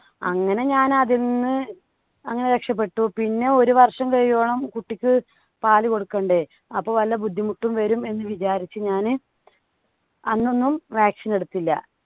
അങ്ങനെ ഞാൻ അതിൽ നിന്ന് അങ്ങനെ രക്ഷപ്പെട്ടു. പിന്നെ ഒരു വർഷം കഴിയുവോളം കുട്ടിക്ക് പാലു കൊടുക്കണ്ടെ? അപ്പോ വല്ല ബുദ്ധിമുട്ടും വരും എന്ന് വിചാരിച്ചു ഞാന് അന്ന് ഒന്നും vaccine എടുത്തില്ല.